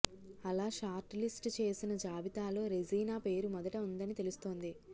అలా short list చేసిన జాబితాలో రెజీనా పేరు మొదట ఉందని తెలుస్తోంది